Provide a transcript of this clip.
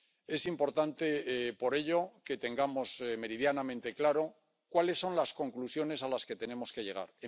Es importante, por ello, que tengamos meridianamente claro cuáles son las conclusiones a las que tenemos que llegar.